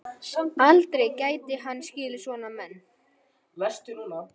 Aldrei gæti hann skilið svona menn.